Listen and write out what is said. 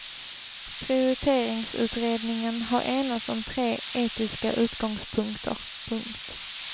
Prioriteringsutredningen har enats om tre etiska utgångspunkter. punkt